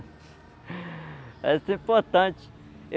Essa é importante.